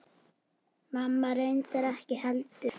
Mamma reyndar ekki heldur.